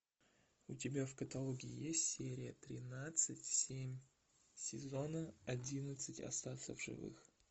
у тебя в каталоге есть серия тринадцать семь сезона одиннадцать остаться в живых